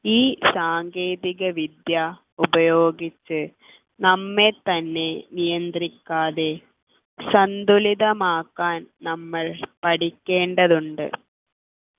ഈ സാങ്കേതികവിദ്യ ഉപയോഗിച്ച് നമ്മെ തന്നെ നിയന്ത്രിക്കാതെ സന്തുലിതമാക്കാൻ നമ്മൾ പഠിക്കേണ്ടതുണ്ട്